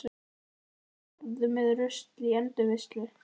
Flokkaðu og farðu með rusl í endurvinnslu.